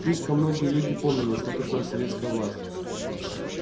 слишком многие люди помнили что такое советская власть